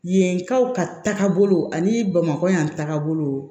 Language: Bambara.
Yenkaw ka tagabolo ani bamakɔ yan tagabolo